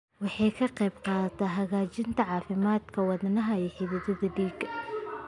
Waxay ka qaybqaadataa hagaajinta caafimaadka wadnaha iyo xididdada dhiigga.